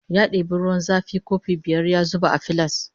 Ya debi ruwan zafi kofi biyar ya zuba a filas